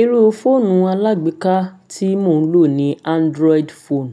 Irú fóònù alágbèéká tí mò ń lò ni Android phone.